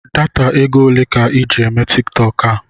Data égo olé ka I ji eme Tiktọk a?